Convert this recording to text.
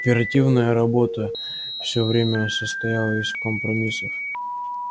оперативная работа все время состояла из компромиссов